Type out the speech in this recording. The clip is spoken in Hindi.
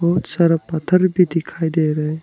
बहुत सारा पत्थर भी दिखाई दे रहे हैं।